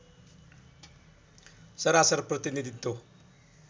सरासर प्रतिनीधित्व